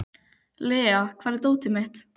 Lea, hvar er dótið mitt?